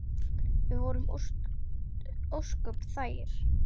Við vorum ósköp þægir.